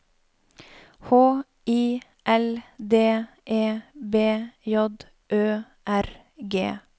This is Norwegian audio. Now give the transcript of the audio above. H I L D E B J Ø R G